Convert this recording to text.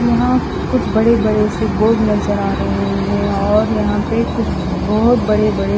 यहां कुछ बड़े बड़े से बोर्ड नज़र आ रहे है और यहां पे कुछ बहोत बड़े बड़े--